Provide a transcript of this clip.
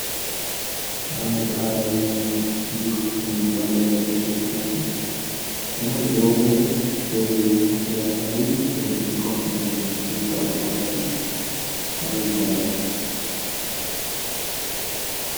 አንድ ባህላዊ ሙዚቃ በመጫወት ላይ ያሉ ሰዎች ናቸው። ለመሆኑ በአሁኑ ወቅት ባህላዊ ሙዚቃዎችን በመጫወት የሚታወቀው አርቲስት ማን ይባላል።